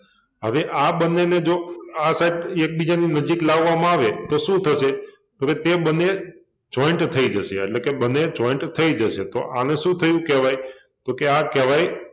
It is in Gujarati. હવે આ બન્ને ને જો આ side એકબીજાની નજીક લાવવામાં આવે તો શું થશે? તો કે તે બન્ને joint થઈ જશે એટલે કે બન્ને joint થઈ જશે તો આને શું થયુ કહેવાય? તો કે આ કહેવાય